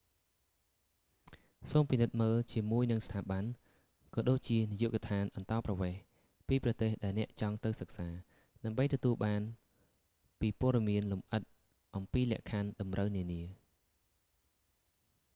សូមពិនិត្យមើលជាមួយនឹងស្ថាប័ន ក៏ដូចជានាយកដ្ឋានអន្តោប្រវេសន៍ ពីប្រទេសដែលអ្នកចង់ទៅសិក្សា ដើម្បីទទួលបានពីព័ត៌មានលម្អិតអំពីលក្ខខណ្ឌតម្រូវនានា